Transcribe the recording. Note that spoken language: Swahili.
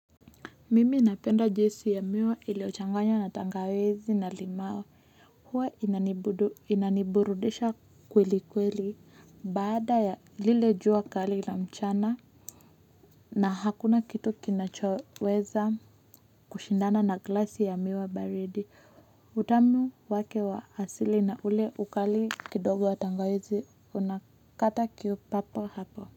Mimi napenda juisi ya miwa iliyochanganywa na tangawizi na limau. Hua inaniburudisha kweli kweli bada ya lile jua kali na mchana. Na hakuna kitu kinachoweza kushindana na glasi ya miwa baridi. Utamu wake wa asili na ule ukali kidogo wa tangawizi unakata kiu papo hapo.